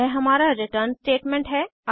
यह हमारा return statement है